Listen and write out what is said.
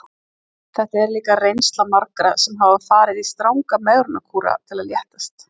Þetta er líka reynsla margra sem hafa farið í stranga megrunarkúra til að léttast.